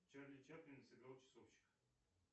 чарли чаплин сыграл часовщика